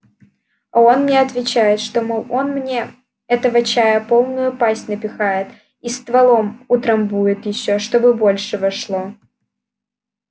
а он мне отвечает что мол он мне этого чая полную пасть напихает и стволом утрамбует ещё чтобы больше вошло